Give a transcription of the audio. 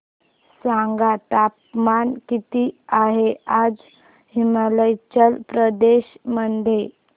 सांगा तापमान किती आहे आज हिमाचल प्रदेश मध्ये